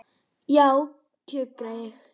Já, kjökra ég.